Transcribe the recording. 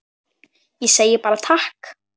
Ég segi bara takk.